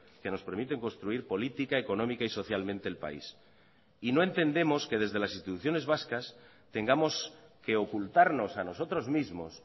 que nos permiten construir política económica y socialmente el país y no entendemos que desde las instituciones vascas tengamos que ocultarnos a nosotros mismos